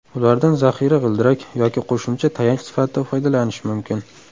Ulardan zaxira g‘ildirak, yoki qo‘shimcha tayanch sifatida foydalanish mumkin.